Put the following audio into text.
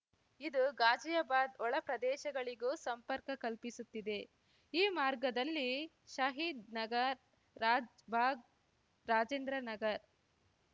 ಇದು ಘಾಜಿಯಾಬಾದ್ ಒಳ ಪ್ರದೇಶಗಳಿಗೂ ಸಂಪರ್ಕ ಕಲ್ಪಿಸುತ್ತಿದೆ ಈ ಮಾರ್ಗದಲ್ಲಿ ಷಹೀದ್ ನಗರ್ ರಾಜ್‌ಭಾಗ್ ರಾಜೇಂದ್ರ ನಗರ್